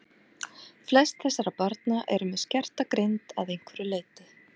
Flest þessara barna eru með skerta greind að einhverju leyti.